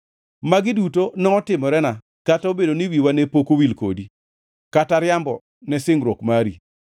Magi duto notimorena, kata obedo ni wiwa ne pok owil kodi, kata riambo ne singruok mari.